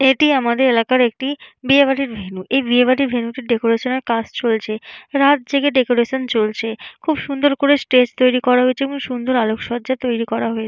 এটি আমাদের এলাকার একটি বিয়ে বাড়ির ভেন্যু এই বিয়ে বাড়ির ভেন্যু টির ডেকোরেশন এর কাজ চলছে রাত জেগে ডেকোরেশন চলছে খুব সুন্দর করে স্টেজ তৈরি করা হয়েছে এবং সুন্দর আলোক সজ্জা তৈরি করা হয়ে --